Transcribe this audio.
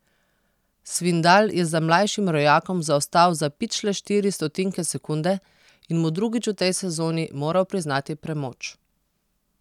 Svindal je za mlajšim rojakom zaostal za pičle štiri stotinke sekunde in mu drugič v tej sezoni moral priznati premoč.